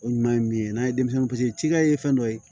O ɲuman ye min ye n'a ye denmisɛnnin paseke cikɛ ye fɛn dɔ ye